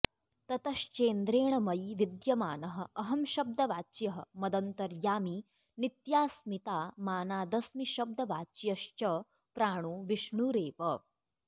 ततश्चेन्द्रेण मयि विद्यमानः अहंशब्दवाच्यः मदन्तर्यामी नित्यास्मितामानादस्मिशब्दवाच्यश्च प्राणो विष्णुरेव